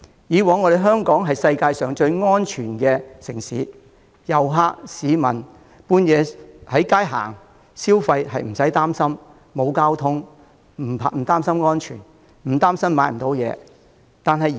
香港以往是世界最安全的城市，遊客和市民半夜在街上行走或消費不會擔憂，沒有交通工具亦不擔心安全，更不會擔心買不到東西。